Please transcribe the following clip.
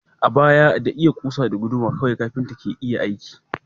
A baya, da iya kusa da guduma kawai kafinta ke aiki.